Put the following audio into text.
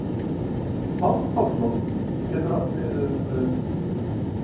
páll pálsson getur átt við um